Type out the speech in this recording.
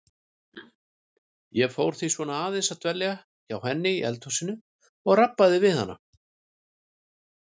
Ég fór því svona aðeins að dvelja hjá henni í eldhúsinu og rabba við hana.